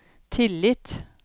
tillit